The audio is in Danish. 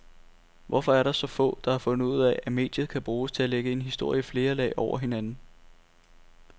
Hvorfor er der så få, der har fundet ud af, at mediet kan bruges til at lægge en historie i flere lag over hinanden?